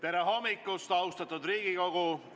Tere hommikust, austatud Riigikogu!